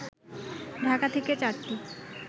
ঢাকা থেকে চারটি